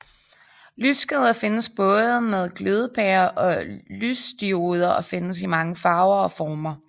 Lyskæder findes både med glødepærer og lysdioder og findes i mange farver og former